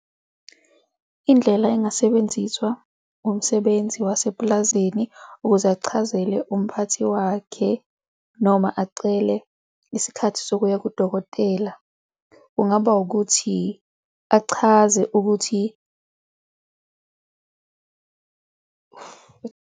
Indlela engasebenziswa umsebenzi wasepulazini ukuze achazele umphathi wakhe noma acele isikhathi sokuya kudokotela. Kungaba ukuthi achaze ukuthi.